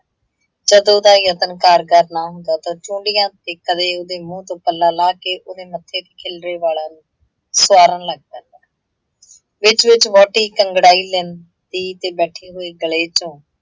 ਜੱਦੋਂ ਉਹਦਾ ਯਤਨ ਕਾਰਗਾਰ ਨਾ ਹੁੰਦਾ ਤਾਂ ਝੂੰਡੀਆਂ ਤੇ ਕਦੇ ਉਹਦੇ ਮੂੰਹ ਤੋਂ ਪੱਲਾ ਲਾਹ ਕੇ ਉਹਦੇ ਮੱਥੇ ਤੇ ਖਿਲਰੇ ਵਾਲਾਂ ਨੂੰ ਸਵਾਰਣ ਲੱਗ ਜਾਂਦਾ, ਵਿੱਚ - ਵਿੱਚ ਵਹੁਟੀ ਅੰਗੜਾਈ ਲੈਂਦੀ ਤੇ ਬੈਠੇ ਹੋਏ ਗਲੇ ਚੋਂ